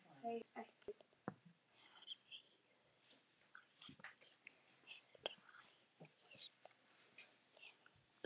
Hræðist hana ekki.